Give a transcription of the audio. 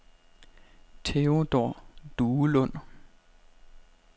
Theodor Duelund